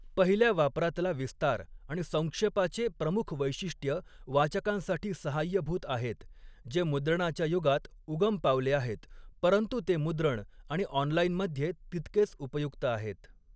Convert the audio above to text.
पहिल्या वापरातला विस्तार आणि संक्षेपाचे प्रमुख वैशिष्ट्य वाचकांसाठी सहाय्यभूत आहेत, जे मुद्रणाच्या युगात उगम पावले आहेत, परंतु ते मुद्रण आणि ऑनलाईनमध्ये तितकेच उपयुक्त आहेत.